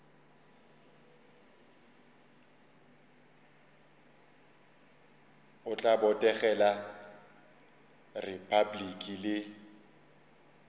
o tla botegela repabliki le